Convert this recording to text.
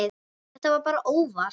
Þetta var bara óvart.